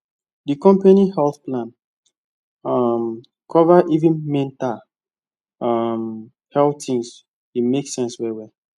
the company health plan um cover even mental um health things e make sense well well